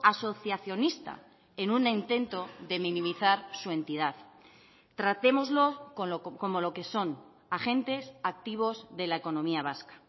asociacionista en un intento de minimizar su entidad tratémoslo como lo que son agentes activos de la economía vasca